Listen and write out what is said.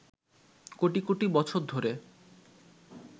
কোটি কোটি বছর ধরে